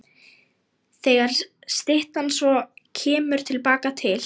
Þegar styttan svo kemur til baka til